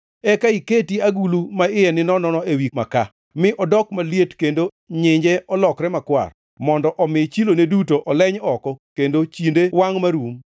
Eka iketi agulu ma iye ninono ewi makaa mi odok maliet kendo nyinje lokre makwar, mondo omi chilone duto oleny oko kendo chinde wangʼ marum.